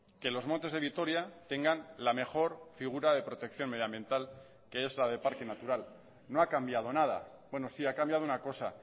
que los montes de vitoria tengan la mejor figura de protección medioambiental que es la de parque natural no ha cambiado nada bueno sí ha cambiado una cosa